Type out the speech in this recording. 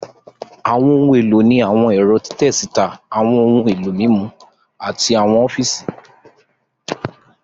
Àwọn ohun èlò ní àwọn ẹ̀rọ́ títẹ síta, àwọn ohun èlò mímú, àti àwọn ọfíìsì